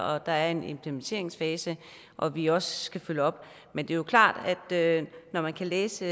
og at der er en implementeringsfase og at vi også skal følge op men det er jo klart at når man kan læse